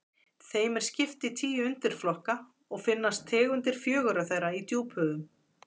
þeim er skipt í tíu undirflokka og finnast tegundir fjögurra þeirra í djúphöfum